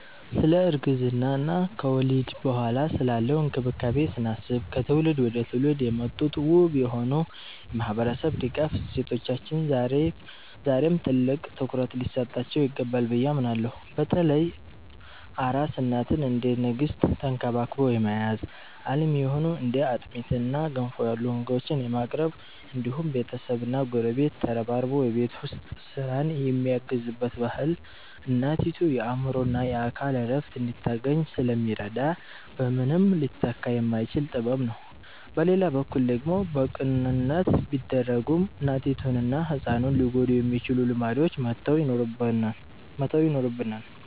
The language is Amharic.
ስለ እርግዝና እና ከወሊድ በኋላ ስላለው እንክብካቤ ስናስብ፣ ከትውልድ ወደ ትውልድ የመጡት ውብ የሆኑ የማህበረሰብ ድጋፍ እሴቶቻችን ዛሬም ትልቅ ትኩረት ሊሰጣቸው ይገባል ብዬ አምናለሁ። በተለይ አራስ እናትን እንደ ንግስት ተንክባክቦ የመያዝ፣ አልሚ የሆኑ እንደ አጥሚትና ገንፎ ያሉ ምግቦችን የማቅረብ እንዲሁም ቤተሰብና ጎረቤት ተረባርቦ የቤት ውስጥ ስራን የሚያግዝበት ባህል እናቲቱ የአእምሮና የአካል እረፍት እንድታገኝ ስለሚረዳ በምንም ሊተካ የማይችል ጥበብ ነው። በሌላ በኩል ደግሞ በቅንነት ቢደረጉም እናቲቱንና ህፃኑን ሊጎዱ የሚችሉ ልማዶችን መተው ይኖርብናል።